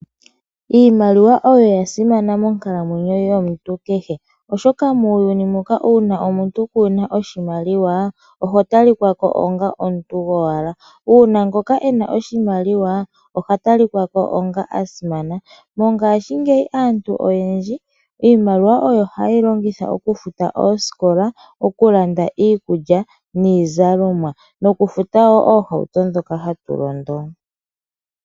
Iimaliwa oya simana monkalamwenyo yomuntu kehe, oshoka muuyuni muka uuna omuntu kuna oshimaliwa oho ta li kako onga omuntu gowala, omanga ngoka ena oshimaliwa oha talikwa ko onga asimana. Mongaashinmgeyi aantu oyendji iimaliwa oyo haye yi longitha okufuta oosikola, oku landa iikulya niizalomwa noku futawo oohauto ndhoka hatu londo.